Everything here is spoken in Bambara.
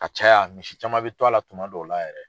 A ka ca ya misi caman be to a la tuma dɔ la yɛrɛ.